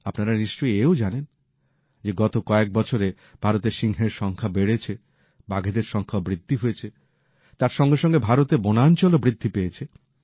আপনারা নিশ্চয়ই এও জানেন যে গত কয়েক বছরে ভারতে সিংহের সংখ্যা বেড়েছে বাঘেদের সংখ্যাও বৃদ্ধি হয়েছে তার সঙ্গে সঙ্গে ভারতের বনাঞ্চলও বৃদ্ধি পেয়েছে